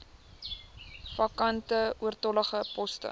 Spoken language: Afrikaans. vakante oortollige poste